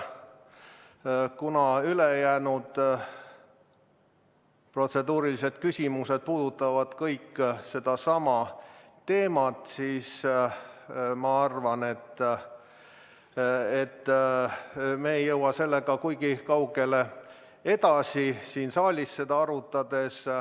Kui ülejäänud protseduurilised küsimused puudutavad kõik sedasama teemat, siis ma arvan, et me ei jõua seda siin saalis edasi arutades kuigi kaugele.